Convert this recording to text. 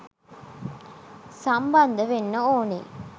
සම්බන්ධ වෙන්න ඕනෙ.